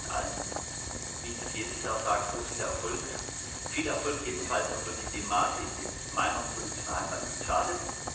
Ich wünsche Ihnen allen wie ich das jedes Jahr sage viel Erfolg, viel Erfolg jedenfalls in dem Maße, in dem es meiner politischen Heimat nicht schadet.